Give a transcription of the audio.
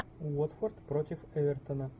уотфорд против эвертона